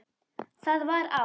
Það var á